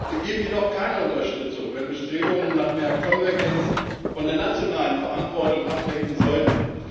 Wir geben jedoch keine Unterstützung, wenn Bestrebungen nach mehr Konvergenz von der nationalen Verantwortung ablenken sollten.